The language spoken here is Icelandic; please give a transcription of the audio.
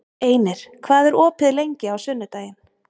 Einir, hvað er opið lengi á sunnudaginn?